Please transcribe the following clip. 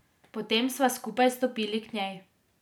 Potem sva skupaj stopili k njej.